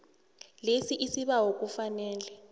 lesi isibawo kufanele